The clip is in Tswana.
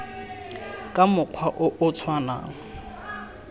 ka mokgwa o o tshwanang